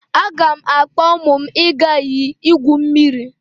Aga m akpọ ụmụ m aga iyi igwu mmiri.